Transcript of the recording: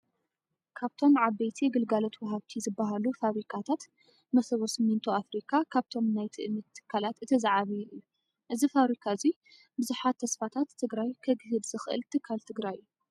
ካብቶም ዓበይቲ ግልጋሎት ወሃብቲ ዝበሃሉ ፋብሪካታት መሰቦ ስሚንቶ ፋብሪካ ካብቶም ናይ ትእምት ትካላት እቲ ዝዓበየ እዩ። እዚ ፋብሪካ እዙይ ብዙሓት ተስፋታት ትግራይ ከግህድ ዝኽእል ትካል ትግራይ እዩ።